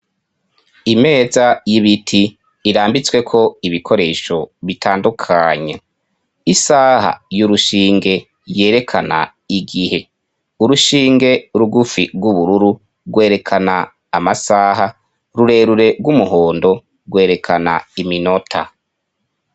Imeza y'ibiti irambitsweko ibikoresho bitandukanye: isaha y'urushinge yerekana igihe; urushinge rugufi rw'ubururu rwerekana amasaha; rurerure rw'umuhondo rwerekana iminota.